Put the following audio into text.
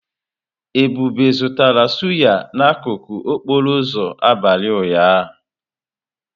Ebube zụtara sụ́yá n'akụkụ okporo ụzọ abalị ụnyaahụ.